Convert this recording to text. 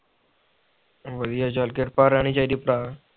ਵਧੀਆ ਚਾਲ ਕਿਰਪਾ ਰਹਿਣੀ ਚਾਹੀਦੇ ਭਰਾ